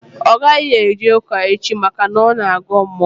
Ọ gaghị eje ụka echi maka na ọ na-agọ mmụọ